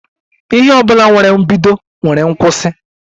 Ihe ọbụla nwere mbido nwere nkwụsi